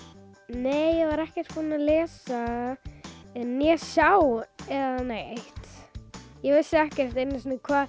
nei ég var ekkert búin að lesa eða sjá neitt ég vissi ekkert einu sinni um hvað